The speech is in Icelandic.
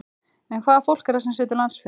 En hvaða fólk er það sem situr landsfund?